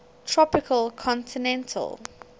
tropical continental ct